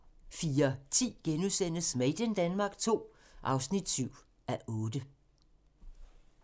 04:10: Made in Denmark II (7:8)*